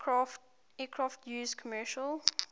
aircraft used commercial